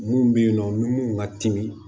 Mun bɛ yen nɔ ni mun ka timi